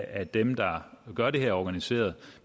af dem der gør det her organiseret